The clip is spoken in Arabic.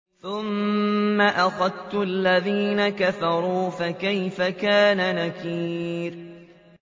ثُمَّ أَخَذْتُ الَّذِينَ كَفَرُوا ۖ فَكَيْفَ كَانَ نَكِيرِ